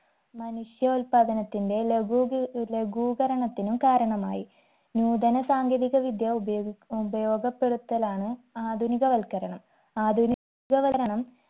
മനുഷ്യോത്പാദനത്തിന്റെ ലഖൂകി ലഘൂകരണത്തിനും കാരണമായി നൂതന സാങ്കേതികവിദ്യ ഉപയോഗി ഉപയോഗപ്പെടുത്തലാണ് ആധുനിക വൽക്കരണം ആധുനി ക വരണം